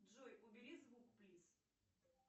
джой убери звук плиз